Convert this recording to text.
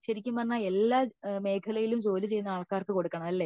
ശെരിക്കും എല്ലാ മേഖലയിലും ജോലി ചെയ്യുന്ന ആൾക്കാർക്കും കൊടുക്കണമല്ലേ